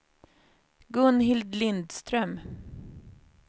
Gunhild Lindström